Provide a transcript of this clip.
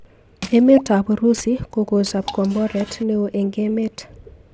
Emet ab Urusi kokochob komboret neo eng emet.